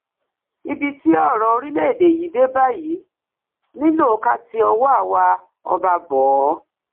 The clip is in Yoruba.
ibi tí ọrọ orílẹèdè yìí dé báyìí nílò ká ti ọwọ àwa ọba bọ ọ